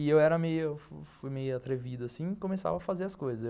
E eu fui meio atrevido assim e começava a fazer as coisas.